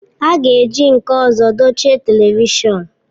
A ga-eji nke ọzọ dochie telivishọn